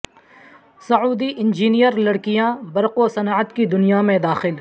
سعودی engineer لڑکیاں برق و صنعت کی دنیا میں داخل